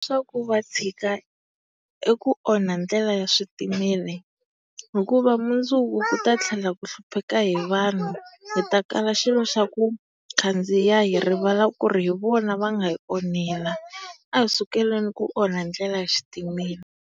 Swa ku va tshika eku onha ndlela ya switimela hikuva mundzuku ku ta tlhela ku hlupheka he he vanhu. Hi ta kala xilo xa ku khandziya hi rivala ku ri hi vona va nga hi onhela. A hi sukeleni ku onha ndlela ya xitimela.